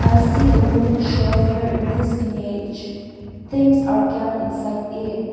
i see a wooden shelf here in this image things are kept inside it.